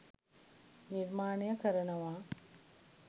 නිර්මානය කරනවා.